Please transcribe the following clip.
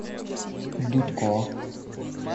дудко